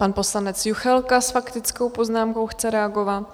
Pan poslanec Juchelka s faktickou poznámkou chce reagovat.